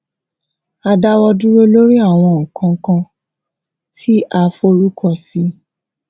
a dáwọ dúró lórí àwọn nnkan kan tí a forúkọ sí